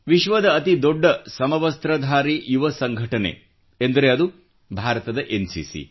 ವಿಶ್ವದ ಅತಿ ದೊಡ್ಡ ಸಮವಸ್ತ್ರಧಾರಿ ಯುವ ಸಂಘಟನೆ ಎಂದರೆ ಅದು ಭಾರತದ ಎನ್ಸಿಸಿ